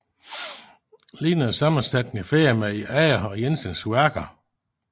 Lignede sammensætninger finder man i andre af Jensens værker